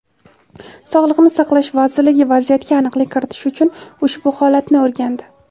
Sog‘liqni saqlash vazirligi vaziyatga aniqlik kiritish uchun ushbu holatni o‘rgandi.